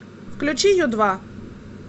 включи ю два